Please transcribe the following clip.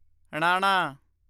ਣਾਣਾ